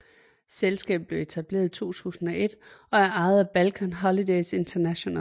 Selskabet blevet etableret i 2001 og er ejet af Balkan Holidays International